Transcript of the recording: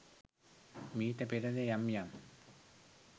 මීට පෙරද යම් යම්